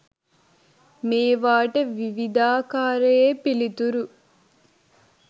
මේවාට විවිධාකරයේ පිළිතුරු